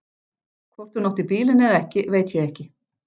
Hvort hún átti bílinn eða ekki veit ég ekki.